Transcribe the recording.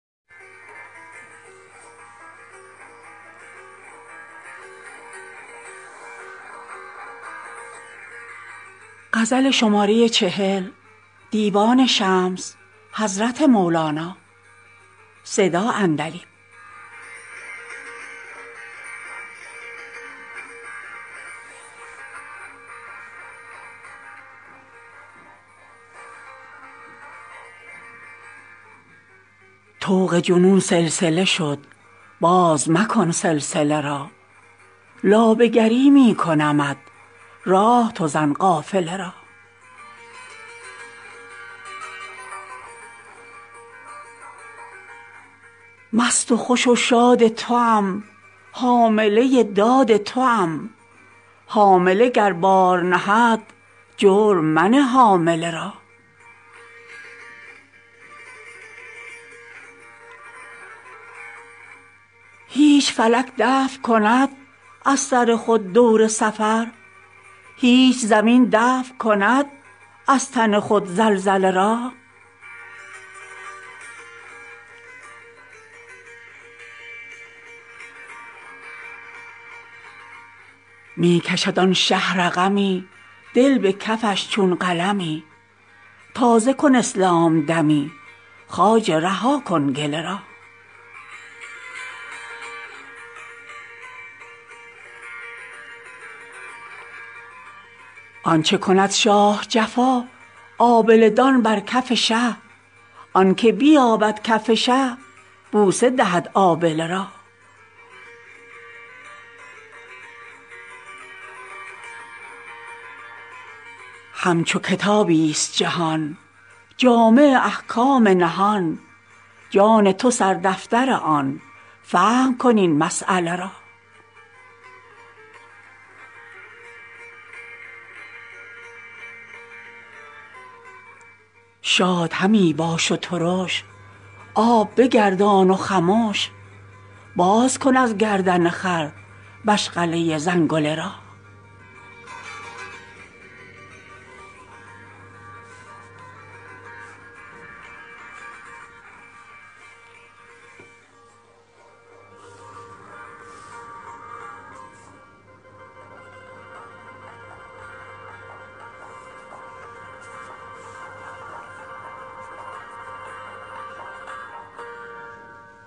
طوق جنون سلسله شد باز مکن سلسله را لابه گری می کنمت راه تو زن قافله را مست و خوش و شاد توام حامله داد توام حامله گر بار نهد جرم منه حامله را هیچ فلک دفع کند از سر خود دور سفر هیچ زمین دفع کند از تن خود زلزله را می کشد آن شه رقمی دل به کفش چون قلمی تازه کن اسلام دمی خواجه رها کن گله را آنچ کند شاه جفا آبله دان بر کف شه آنک بیابد کف شه بوسه دهد آبله را همچو کتابی ست جهان جامع احکام نهان جان تو سردفتر آن فهم کن این مسیله را شاد همی باش و ترش آب بگردان و خمش باز کن از گردن خر مشغله زنگله را